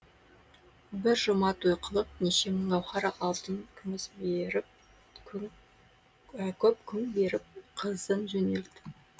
бір жұма той қылып неше мың гауһар алтын күміс беріп көп күң беріп қызын жөнелтті